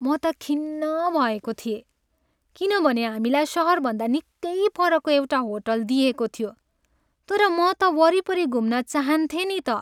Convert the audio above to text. म त खिन्न भएको थिएँ किनभने हामीलाई सहरभन्दा निकै परको एउटा होटल दिइएको थियो तर म त वरिपरि घुम्न चाहान्थेँ नि त।